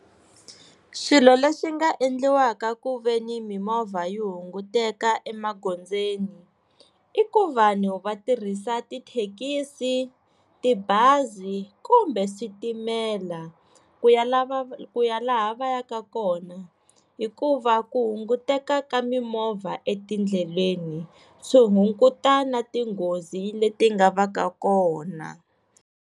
Swilo leswi nga endliwaka ku ve ni mimovha yi hunguteka emagondzweni i ku vanhu va tirhisa tithekisi tibazi kumbe switimela ku ya lava ku ya laha va yaka kona hikuva ku hunguteka ka mimovha etindleleni swi hunguta na tinghozi leti nga va ka kona.